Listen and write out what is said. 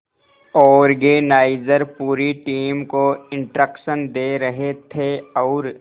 organiser पूरी team को instruction दे रहे थे और